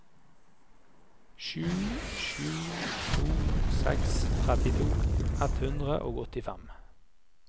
sju sju to seks trettito ett hundre og åttifem